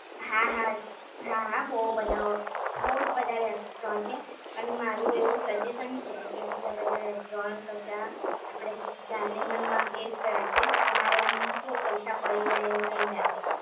હા હા હા હા બહુ બધા ઓપ્શન બહુ જ બધા રેસ્ટોરન્ટ છે, અને મારું એવું સજેશન છે કે બીજા બધા રેસ્ટોરન્ટ કરતા આપડે જાનેમનમાં બેસ્ટ રહેશે તમારે આમ કેવું કે પૈસા પડી જાય એવું નહીં લાગે